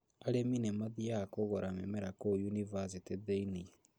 Arĩmi nĩmathiaga kũgura mĩmera kũu yunibathĩtĩ thĩinĩ